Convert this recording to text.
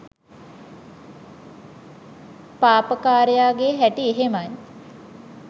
පාපකාරයාගේ හැටි එහෙමයි